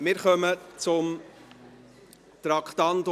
Wir kommen zum Traktandum 38.